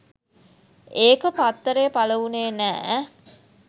ඒක පත්තරේ පළවුණේ නෑ